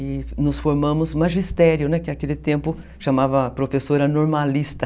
E nos formamos magistério, né, que naquele tempo chamava professora normalista.